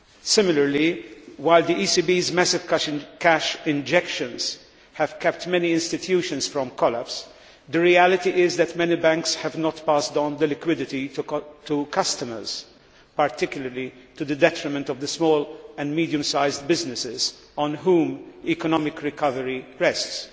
Similarly, while the ECB's massive cash injections have kept many institutions from collapse, the reality is that many banks have not passed on the liquidity to customers, particularly to the detriment of the small and medium sized businesses on whom economic recovery rests.